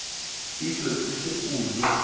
etswe o se o le